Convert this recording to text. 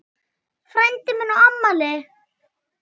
Frændi minn á afmæli.